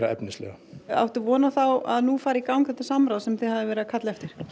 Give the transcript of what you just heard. efnislega áttu von á að nú fari í gang þetta samráð sem þið hafið verið að kalla eftir